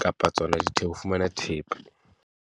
kapa tsona di ho fumana thepa.